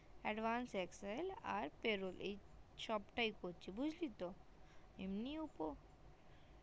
advance excel আর payroll এই সব তাই করছি বুজলি তোএমনি উপর